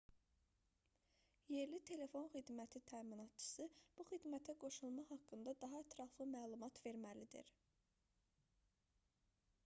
yerli telefon xidməti təminatçısı bu xidmətə qoşulma haqqında daha ətraflı məlumat verməlidir